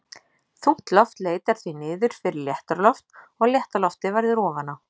Þungt loft leitar því niður fyrir léttara loft og létta loftið verður ofan á.